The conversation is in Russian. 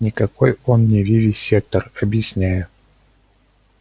никакой он не вивисектор объясняю